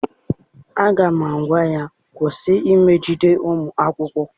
Aga m agwa ya, kwụsị imegide ụmụakwụkwọ!